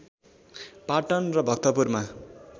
पाटन र भक्तपुरमा